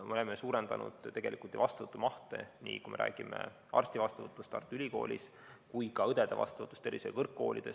Me oleme suurendanud vastuvõttu arstiõppesse Tartu Ülikoolis ja ka õdede õppesse tervishoiukõrgkoolides.